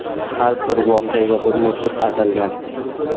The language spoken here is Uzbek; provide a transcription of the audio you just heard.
Har bir voqeaga bir musiqa "atalgan".